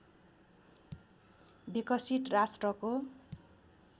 विकसित राष्ट्रको